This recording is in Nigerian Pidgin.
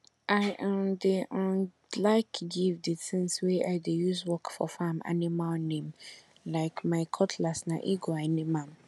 i um dey um like give di tins wey i dey use work for farm animal name like my cutlass na eagle i name am